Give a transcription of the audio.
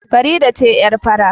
Farida ce yar fari